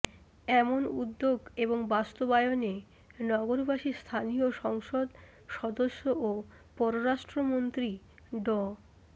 এমন উদ্যোগ এবং তা বাস্তবায়নে নগরবাসী স্থানীয় সংসদ সদস্য ও পররাষ্ট্র মন্ত্রী ড